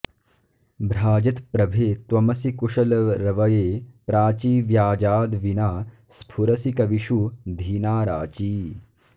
भ्राजत्प्रभे त्वमसि कुशलरवये प्राची व्याजाद्विना स्फुरसि कविषु धीनाराची